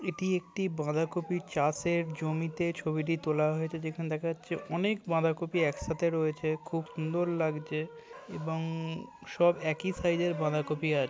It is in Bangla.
এটি একটি বাঁধাকপি চাষের জমিতে ছবিটি তোলা হয়েছে। যেখানে দেখা যাচ্ছে অনেক বাঁধাকপি একসাথে রয়েছে। এবং খুব সুন্দর লাগছে। এবং সব একই সাইজের বাঁধাকপি আছে।